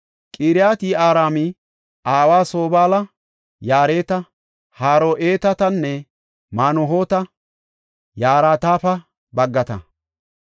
Qiriyat-Yi7aarima aawa Sobaala yarati Haro7eetatanne Manuhoota yaratape baggata.